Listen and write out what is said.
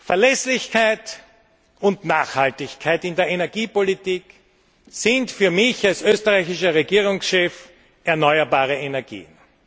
Verlässlichkeit und Nachhaltigkeit in der Energiepolitik sind für mich als österreichischer Regierungschef erneuerbare Energien.